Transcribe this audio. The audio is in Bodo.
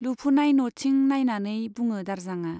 लुफुनाय न'थिं नाइनानै बुङो दारजांआ।